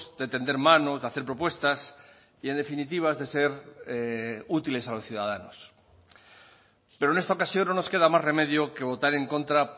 de tender manos de hacer propuestas y en definitiva de ser útiles a los ciudadanos pero en esta ocasión no nos queda más remedio que votar en contra